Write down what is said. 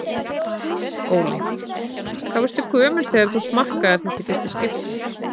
Óli: Hvað varstu gömul þegar þú smakkaðir þetta í fyrsta skipti?